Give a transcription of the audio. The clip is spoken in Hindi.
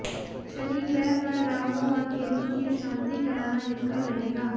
शनि ग्रह व राहू और केतु की शांति कराना हितकर रहेगा